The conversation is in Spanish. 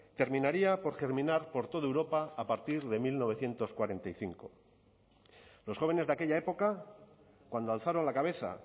terminaría por germinar por toda europa a partir de mil novecientos cuarenta y cinco los jóvenes de aquella época cuando alzaron la cabeza